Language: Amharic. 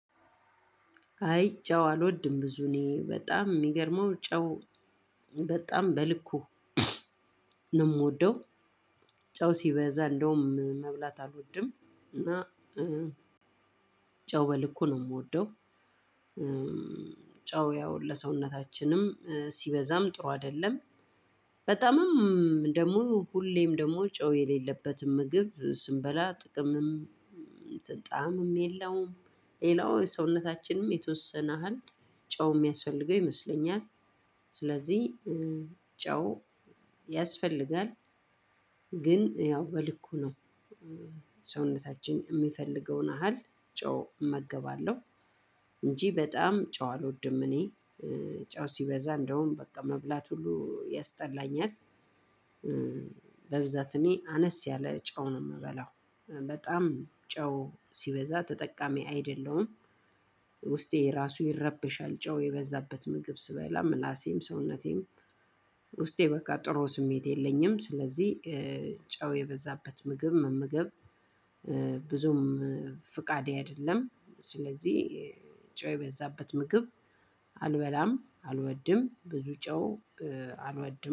አይ ጨው አልወድም ብዙ እኔ በጣም ሚገርመው ጨው በጣም በልኩ ነው ምወደው። ጨው ሲበዛ እንደውም መብላት አልወድም። እና ጨው በልኩ ነው ምወደው። ጨው ያው ለሰውነታችንም ሲበዛም ጥሩ አይደለም። በጣምም ደሞ ሁሌም ደሞ ጨው የሌለበትም ምግብ ስንበላ ጥቅምም ጣዕምም የለውም። ሌላው ሰውነታችንም የተወሰነ ያሀል ጨው የሚያስፈልገው ይመስለኛል። ስለዚህ ጨው ያስፈልጋል። ግን ያው በልኩ ነው። ሰውነታችን የሚፈልገውን አሃል ጨው እመገባለሁ እንጂ በጣም ጨው አልወድም። እኔ ጨው ሲበዛ እንደውም በቃ መብላት ሁሉ ያስጠላኛል። በብዛት እኔ አነስ ያለ ጨው ነው ምበላው። በጣም ጨው ሲበዛ ተጠቃሚ አይደለሁም። ውስጤ ራሱ ይረበሻል ጨው የበዛበት ምግብ ስበላ ምላሴም ሰውነቴም ውስጤ በቃ ጥሩ ስሜት የለኝም። ስለዚህ ጨው የበዛበት ምግብ መመገብ ብዙም ፍቃዴ አይደለም። ስለዚህ ጨው የበዛበት ምግብ አልበላም አልወድም ብዙ ጨው አልወድም